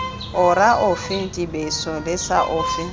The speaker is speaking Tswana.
ora ofe dibeso lesa ofe